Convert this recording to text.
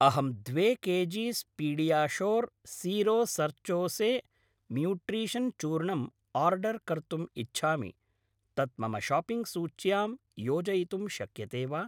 अहं द्वे kgs PediaSure zero sucrose nutrition चूर्णम् आर्डर् कर्तुम् इच्छामि, तत् मम शाप्पिङ्ग् सूच्यां योजयितुं शक्यते वा?